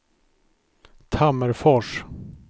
Tammerfors